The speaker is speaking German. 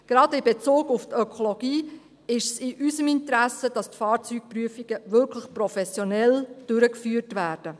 Gerade in Bezug auf die Ökologie ist es in unserem Interesse, dass die Fahrzeugprüfungen wirklich professionell durchgeführt werden.